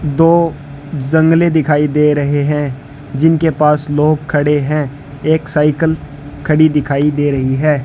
दो जंगले दिखाई दे रहे हैं जिनके पास लोग खड़े हैं एक साइकिल खड़ी दिखाई दे रही है।